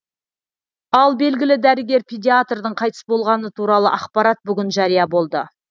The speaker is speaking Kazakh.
ал белгілі дәрігер педиатрдың қайтыс болғаны туралы ақпарат бүгін жария болды